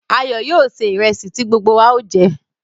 Ayo yóò sè ìrẹ̀sì ti gbogbo wa o jẹ̀.